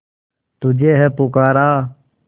तुझे है पुकारा